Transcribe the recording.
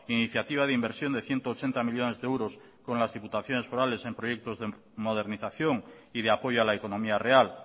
iniciativa de inversión de ciento ochenta millónes de euros con las diputaciones forales en proyectos de modernización y de apoyo a la economía real